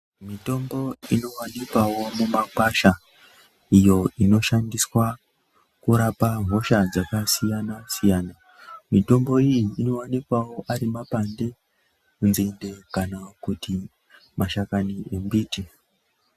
Mitombo inoqanikwawo mumakwasha iyo inoshandiswa kurapa hosha dzakasiyana siyana mitombo iyi inowanikwawo ari mapande, nzinde kana kuti mashakani embiti.